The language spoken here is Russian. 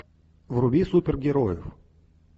вруби супергероев